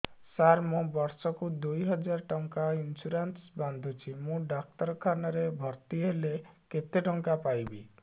ସାର ମୁ ବର୍ଷ କୁ ଦୁଇ ହଜାର ଟଙ୍କା ଇନ୍ସୁରେନ୍ସ ବାନ୍ଧୁଛି ମୁ ଡାକ୍ତରଖାନା ରେ ଭର୍ତ୍ତିହେଲେ କେତେଟଙ୍କା ପାଇବି